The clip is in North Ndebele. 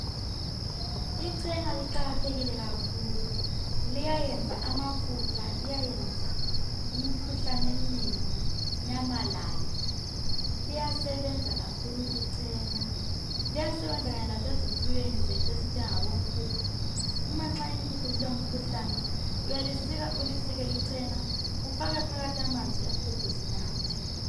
Ichena liqakathekile kakhulu. Liyayenza amafutha. Liyayenza imikhuhlane eminengi inyamalale. Liyasebenza kakhulu ichena. Liyasebenza lasezifuyweni zethu ezinjengabonkukhu. Uma inkukhu sezilomkhuhlane uyalisika ufake phakathi kwamanzi enkukhu zinathe.